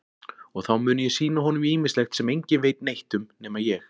Og þá muni ég sýna honum ýmislegt sem enginn veit neitt um nema ég.